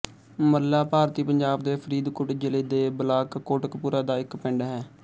ਮੱਲਾ ਭਾਰਤੀ ਪੰਜਾਬ ਦੇ ਫ਼ਰੀਦਕੋਟ ਜ਼ਿਲ੍ਹੇ ਦੇ ਬਲਾਕ ਕੋਟਕਪੂਰਾ ਦਾ ਇੱਕ ਪਿੰਡ ਹੈ